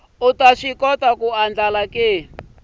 u ta swi kota ku